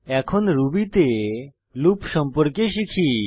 এখন রুবি তে লুপ সম্পর্কে শিখি